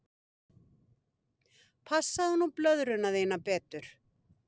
Passaðu nú blöðruna þína betur.